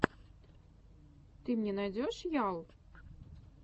ты мне найдешь ял